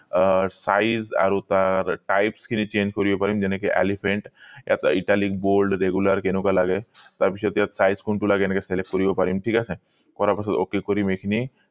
আহ size আৰু তাৰ types খিনি change কৰিব পাৰিম যেনেকে elephant italy bold regular কেনেকুৱা লাগে তাৰ পিছত ইয়াত size কোনটো লাগেএনেকে select কৰিব পাৰিম ঠিক আছে কৰা পিছত ok কৰিম এই খিনি